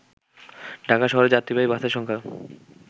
ঢাকা শহরে যাত্রীবাহী বাসের সংখ্যা